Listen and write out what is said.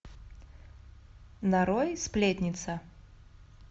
нарой сплетница